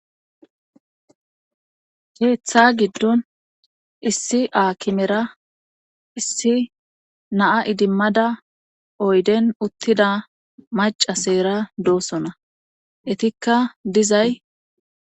Keeththa giddon issi aakimera issi naa idimmada oyden uttida maca seera doosona etikka dizay.